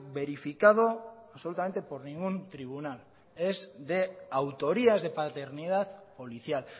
verificado absolutamente por ningún tribunal es de autoría es de paternidad policial